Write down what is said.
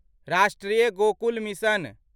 राष्ट्रीय गोकुल मिशन